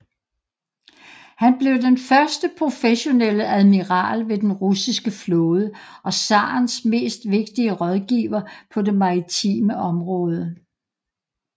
Han blev den første professionelle admiral ved den russiske flåde og zarens mest vigtige rådgiver på det maritime område